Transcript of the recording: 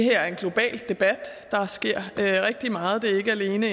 er en global debat der sker rigtig meget det er ikke alene